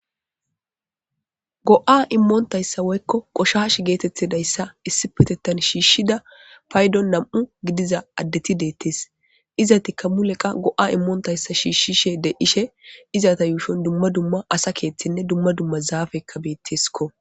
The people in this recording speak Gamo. Go'a imontaysa woyko qoshashi getetidaysa issipetetan shishida paydon nam'u gidiza adeti detes izatika wulqa go'a imontaysa shishishe de'ishe izata yushon duma duma asa kethine duma duma zafeka beteskko.